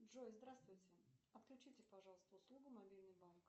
джой здравствуйте отключите пожалуйста услугу мобильный банк